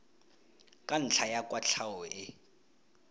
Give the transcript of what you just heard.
ka ntlha ya kwatlhao e